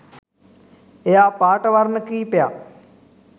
එයා පාට වර්ණ කීපයක්